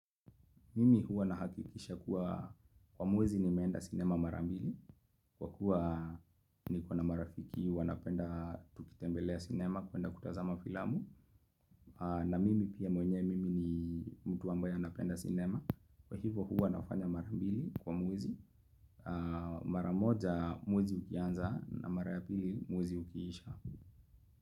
Mimi huwa nahakikisha kuwa kwa mwezi nimeenda sinema mara mbili Kwa kuwa niko na marafiki wanapenda tukitembelea sinema kuenda kutazama filamu na mimi pia mwenyewe mimi ni mtu ambaye anapenda sinema, Kwa hivo huwa nafanya mara mbili kwa mwezi, maramoja mwezi ukianza na mara ya pili mwezi ukiisha.